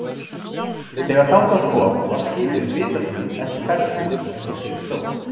Þegar þangað kom var skipið vitaskuld ekki ferðbúið eins og til stóð.